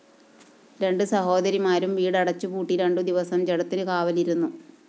രണ്ടു സഹോദരിമാരും വീടടച്ച്പൂട്ടി രണ്ടു ദിവസം ജഡത്തിന്‌ കാവലിരുന്നു